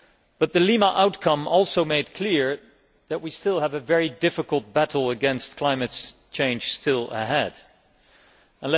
But the Lima outcome also made it clear that we still have a very difficult battle against climate change ahead of us.